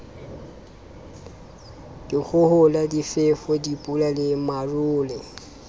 dikgohola difefo dipula le marole